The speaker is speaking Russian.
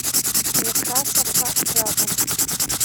некрасовка рядом